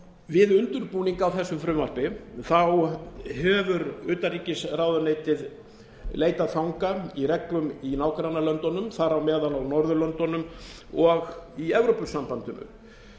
við undirbúning á þessu frumvarpi hefur utanríkisráðuneytið leitað fanga í reglum í nágrannalöndunum þar á meðal á norðurlöndunum og í evrópusambandinu